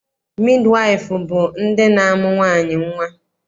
Midiwaịfụ bụ ndị na-amụ nwaanyị nnwa.